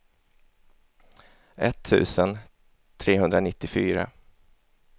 etttusen trehundranittiofyra